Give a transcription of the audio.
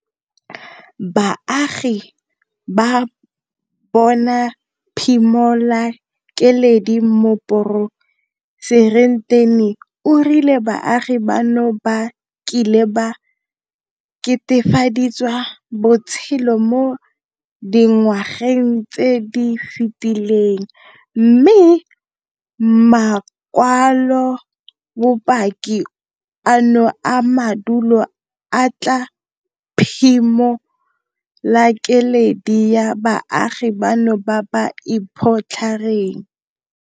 Baagi ba bona phimolakeledi Moporesitente o rile baagi bano ba kile ba ketefalediwa botshelo mo dinwageng tse di fetileng mme makwalobopaki ano a madulo a tla phimolakeledi ya baagi bano ba ba iphotlhereng.